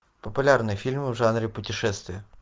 популярные фильмы в жанре путешествие